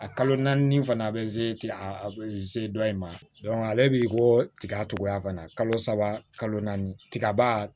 A kalo naani fana bɛ se a bɛ se dɔ in ma ale b'i ko tiga togoya ka na kalo saba kalo naani tigaba